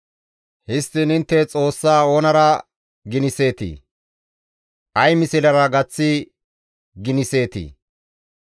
Histtiin intte Xoossaa oonara giniseetii? Ay mislera gaththi giniseetii?